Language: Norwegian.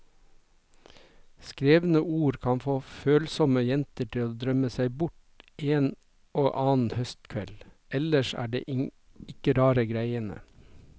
Skrevne ord kan få følsomme jenter til å drømme seg bort en og annen høstkveld, ellers er det ikke rare greiene.